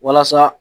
Walasa